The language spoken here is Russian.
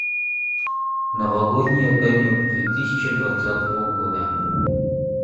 новогодний огонек две тысячи двадцатого года